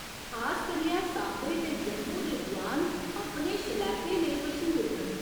खास करियै सांबे ते जम्मू दे जुआन अपने शलैपे लेई मश्हूर न।